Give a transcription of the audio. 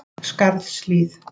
Skarðshlíð